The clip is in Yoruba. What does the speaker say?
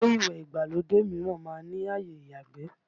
Ilé ìwẹ̀ ìgbàlódé mìíràn má ń ní àyè ìyàgbé